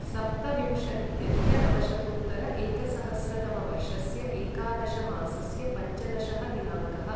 सप्तविंशत्यधिकनवशतोत्तर एकसहस्रतमवर्षस्य एकादशमासस्य पञ्चदशः दिनाङ्कः